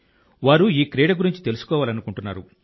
వారు ఈ క్రీడ గురించి తెలుసుకోవాలనుకుంటున్నారు